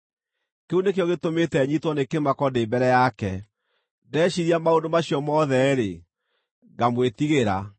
Kĩu nĩkĩo gĩtũmĩte nyiitwo nĩ kĩmako ndĩ mbere yake; ndeciiria maũndũ macio mothe-rĩ, ngamwĩtigĩra.